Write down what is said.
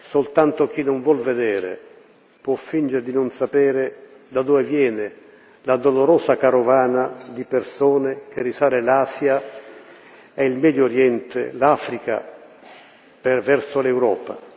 Soltanto chi non vuol vedere può fingere di non sapere da dove viene la dolorosa carovana di persone che risale l'Asia e il Medio Oriente, l'Africa verso l'Europa.